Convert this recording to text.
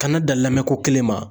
Kana dan lamɛn ko kelen ma.